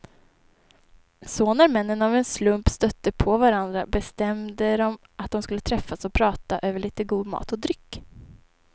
Så när männen av en slump stötte på varandra bestämde de att de skulle träffas och prata över lite god mat och dryck.